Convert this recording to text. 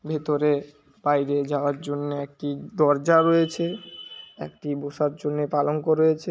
ভেতরে বাইরে যাওয়ার জন্য একটি দরজা রয়েছে। একটি বসার জন্য পালঙ্ক রয়েছে।